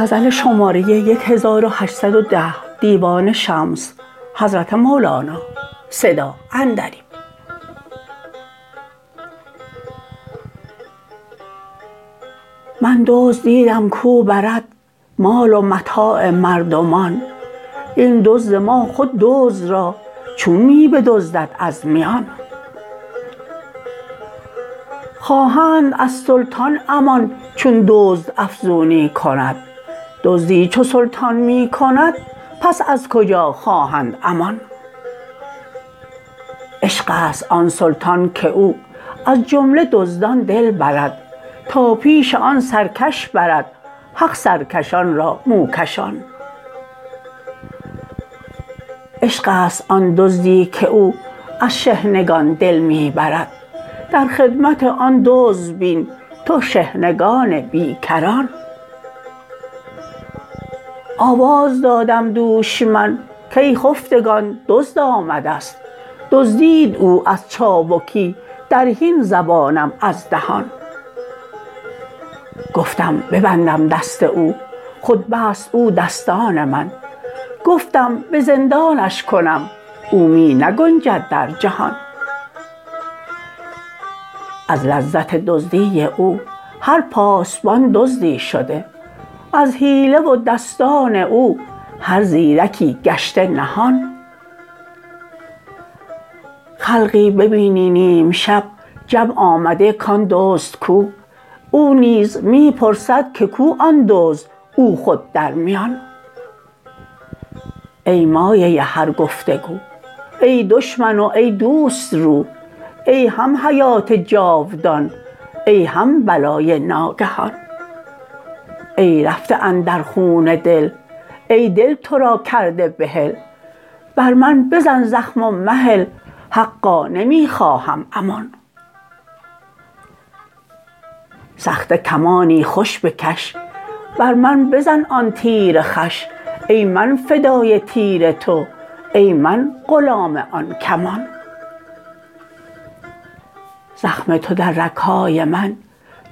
من دزد دیدم کو برد مال و متاع مردمان این دزد ما خود دزد را چون می بدزدد از میان خواهند از سلطان امان چون دزد افزونی کند دزدی چو سلطان می کند پس از کجا خواهند امان عشق است آن سلطان که او از جمله دزدان دل برد تا پیش آن سرکش برد حق سرکشان را موکشان عشق است آن دزدی که او از شحنگان دل می برد در خدمت آن دزد بین تو شحنگان بی کران آواز دادم دوش من کای خفتگان دزد آمده ست دزدید او از چابکی در حین زبانم از دهان گفتم ببندم دست او خود بست او دستان من گفتم به زندانش کنم او می نگنجد در جهان از لذت دزدی او هر پاسبان دزدی شده از حیله و دستان او هر زیرکی گشته نهان خلقی ببینی نیم شب جمع آمده کان دزد کو او نیز می پرسد که کو آن دزد او خود در میان ای مایه هر گفت و گو ای دشمن و ای دوست رو ای هم حیات جاودان ای هم بلای ناگهان ای رفته اندر خون دل ای دل تو را کرده بحل بر من بزن زخم و مهل حقا نمی خواهم امان سخته کمانی خوش بکش بر من بزن آن تیر خوش ای من فدای تیر تو ای من غلام آن کمان زخم تو در رگ های من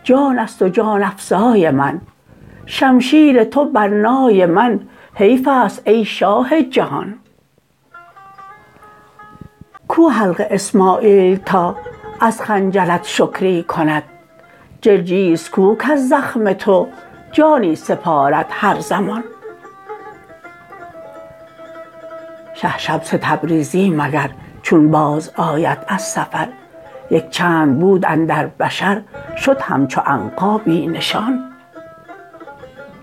جان است و جان افزای من شمشیر تو بر نای من حیف است ای شاه جهان کو حلق اسماعیل تا از خنجرت شکری کند جرجیس کو کز زخم تو جانی سپارد هر زمان شه شمس تبریزی مگر چون بازآید از سفر یک چند بود اندر بشر شد همچو عنقا بی نشان